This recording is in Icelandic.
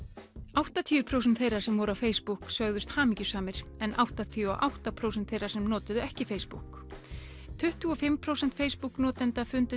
áttatíu prósent þeirra sem voru á Facebook sögðust hamingjusamir en áttatíu og átta prósent þeirra sem notuðu ekki Facebook tuttugu og fimm prósent Facebook notenda fundu